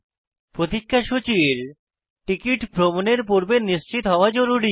প্রতিক্ষা সূচীর টিকিট ভ্রমণের পূর্বে নিশ্চিত হওয়া জরুরী